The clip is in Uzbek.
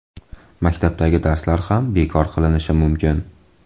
Maktabdagi darslar ham bekor qilinishi mumkin.